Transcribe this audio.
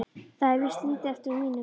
Það er víst lítið eftir af mínum!